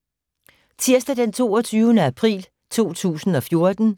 Tirsdag d. 22. april 2014